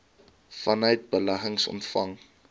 vanuit beleggings ontvang